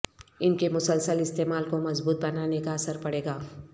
ان کے مسلسل استعمال کو مضبوط بنانے کا اثر پڑے گا